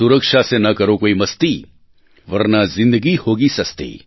સુરક્ષા સે ન કરો કોઈ મસ્તી વર્ના જિંદગી હોગી સસ્તી